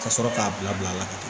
Ka sɔrɔ k'a bila bila la ka